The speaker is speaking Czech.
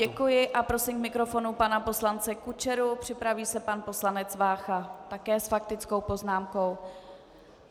Děkuji a prosím k mikrofonu pana poslance Kučeru, připraví se pan poslanec Vácha také s faktickou poznámkou.